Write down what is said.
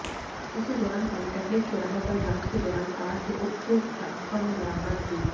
इसी दौरान पॉलीटेक्निक चौराहे पर जांच के दौरान कार से उक्त रकम बरामद हुई